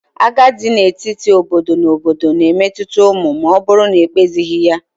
Agha dị n'etiti obodo na obodo na-emetụta ụmụ ma ọ bụrụ na ekpezighi ya.